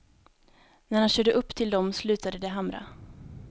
När han körde upp till dem slutade de hamra.